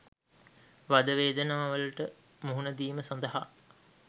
වද වේදනාවලට මුහුණ දීම සඳහා